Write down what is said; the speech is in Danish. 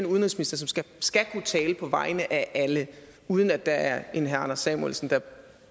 udenrigsminister som skal kunne tale på vegne af alle uden at der er en herre anders samuelsen der